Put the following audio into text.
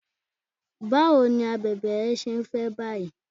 Báwo ni abèbè rẹ ṣé ń fẹ́ báyìí?